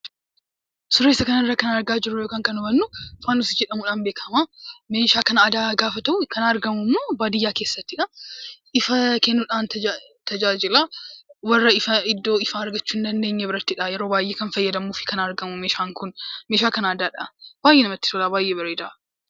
Suuraa isa kana irraa kan argaa jirru yookaan hubannu faanosii jedhamuun beekama. Meeshaa kan aadaa gaafa ta'u kan argamu immoo baadiyyaa keessattidha. Ifa kennuudhaan tajaajilaa warra iddoo ifaa argachuu hin dandeenye birattidha yeroo baayyee kan fayyadamuu fi argamu meeshaan Kun meeshaa kan aadaadha. Namatti tola baayyee bareeda.